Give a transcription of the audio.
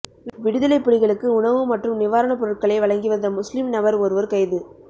விடுதலைப் புலிகளுக்கு உணவு மற்றும் நிவாரணப்பொருட்களை வழங்கிவந்த முஸ்லிம் நபர் ஒருவர் கைது